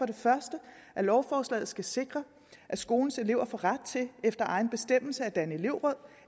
det første at lovforslaget skal sikre at skolens elever får ret til efter egen bestemmelse at danne elevråd